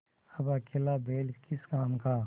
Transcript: अब अकेला बैल किस काम का